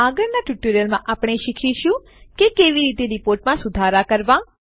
આગળના ટ્યુટોરીયલમાં આપણે શીખીશું કે કેવી રીતે આપણી રીપોર્ટમાં સુધારાં કરવાં